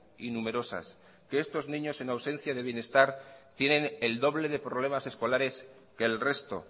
y numerosas que estos niños en ausencia de bienestar tienen el doble de problemas escolares que el resto